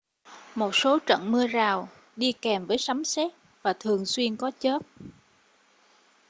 một số trận mưa rào đi kèm với sấm sét và thường xuyên có chớp